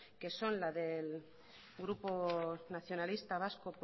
que son las del grupo nacionalista vasco